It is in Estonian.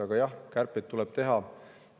Aga jah, kärpeid tuleb teha.